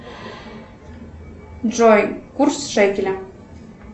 джой курс шекеля